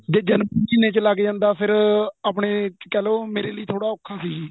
ਜ਼ੇ ਜਨਵਰੀ ਮਹੀਨੇ ਚ ਲੱਗ ਜਾਂਦਾ ਫ਼ੇਰ ਆਪਣੇਂ ਲਈ ਕਹਿਲੋ ਮੇਰੇ ਲਈ ਥੋੜਾ ਔਖਾ ਸੀ ਜੀ